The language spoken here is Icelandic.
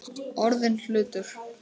Orðinn hlutur.